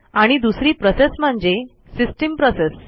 आणि दुसरी प्रोसेस म्हणजे सिस्टीम प्रोसेस